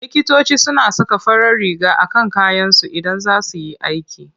Likitoci suna saka farar riga a kan kayansu Idan za su yi aiki.